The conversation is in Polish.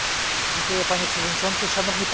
Panie Przewodniczący, Szanowni Państwo!